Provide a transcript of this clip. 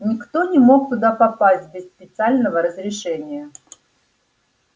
никто не мог туда попасть без специального разрешения